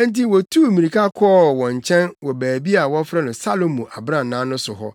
enti wotuu mmirika kɔɔ wɔn nkyɛn wɔ baabi a wɔfrɛ no Salomo Abrannaa no so hɔ.